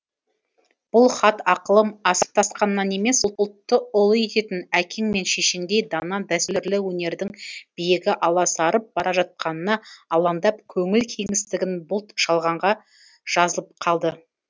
бұл хат ақылым асып тасқаннан емес ұлтты ұлы ететін әкең мен шешеңдей дана дәстүрлі өнердің биігі аласарып бара жатқанына алаңдап көңіл кеңістігін бұлт шалғанда жазылып қалды